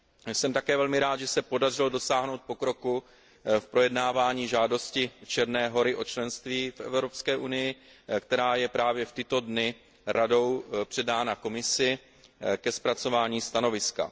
Jsem také velmi rád, že se podařilo dosáhnout pokroku v projednávání žádosti Černé Hory o členství v Evropské unii, která je právě v tyto dny Radou předána Komisi ke zpracování stanoviska.